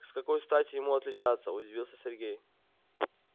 с какой стати ему отличаться удивился сергей